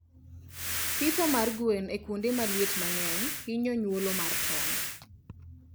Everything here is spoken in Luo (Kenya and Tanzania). Pitho mar gwen e kuonde ma liet mangeny hinyo nyuolo mar tong